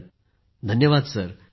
पूनम नौटियालःधन्यवाद सर